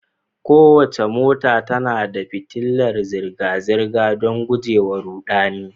Kowace mota tana da fitilar zirga-zirga, don guje wa ruɗani.